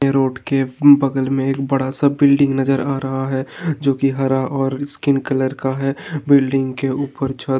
यह रोड के बगल में एक बड़ा सा बिल्डिंग नजर आ रहा है जोकि हरा और स्किन कलर का है। बिल्डिंग के ऊपर --